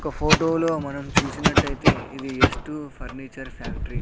ఒక ఫోటోలో మనం చూసినట్టైతే ఇది ఎస్ టు ఫర్నిచర్ ఫ్యాక్టరీ .